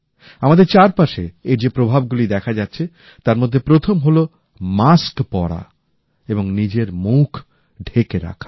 আমাদের চারপাশে এর যে প্রভাবগুলি দেখা যাচ্ছে তার মধ্যে প্রথম হলো মাস্ক পরা এবং নিজের মুখ ঢেকে রাখা